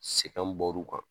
Sɛgɛ bɔr'u kan